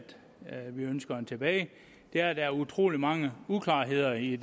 vi ønsker at få tilbage er at der er utrolig mange uklarheder i